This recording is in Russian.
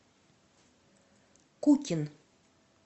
кукин